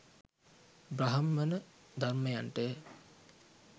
බ්‍රාහ්මණ ධර්මයන්ට ය.